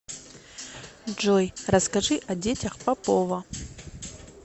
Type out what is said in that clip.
джой расскажи о детях попова